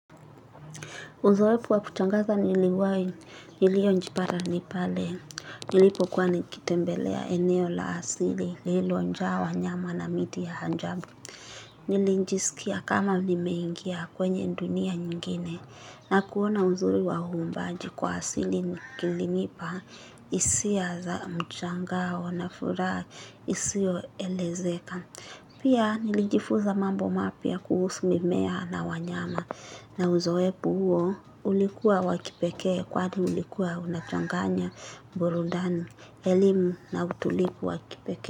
Uzoefu wa kutangaza niliwahi niliyojipata ni pale, nilipokuwa nikitembelea eneo la asili, lililojaa wanyama na miti ya ajabu. Nilijisikia kama nimeingia kwenye dunia nyingine na kuona uzuri wa uumbaji kwa asili kilinipa hisia za mshangao na furaha isiyoelezeka. Pia nilijifuza mambo mapya kuhusu mimea na wanyama na uzoefu huo ulikuwa wa kipekee kwani ulikuwa unachanganya, burudani, elimu na utulivu wa kipekee.